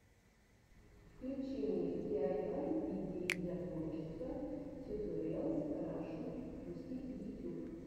включи мне диайвай идеи для творчества тьюториалс рашн русский ютюб